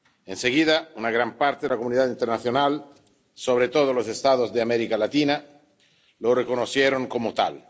Enseguida, una gran parte de la comunidad internacional, sobre todo los Estados de América Latina, lo reconocieron como tal.